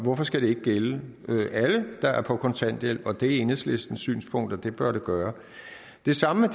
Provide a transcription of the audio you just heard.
hvorfor skal det ikke gælde alle der er på kontanthjælp og det er enhedslistens synspunkt at det bør det gøre det samme